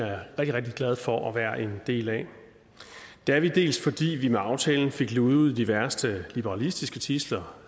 rigtig glad for at være en del af det er vi dels fordi vi med aftalen fik luget ud i de værste liberalistiske tidsler